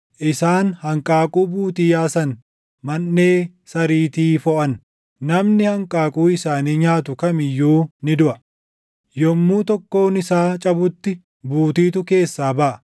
Isaan hanqaaquu buutii yaasan; manʼee sariitii foʼan. Namni hanqaaquu isaanii nyaatu kam iyyuu ni duʼa; yommuu tokkoon isaa cabutti buutiitu keessaa baʼa.